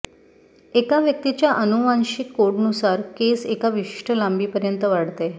एका व्यक्तीच्या आनुवांशिक कोडनुसार केस एका विशिष्ट लांबीपर्यंत वाढते